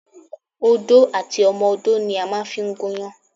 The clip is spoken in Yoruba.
Odó àti ọmọdó ni a màa n fi gúnyán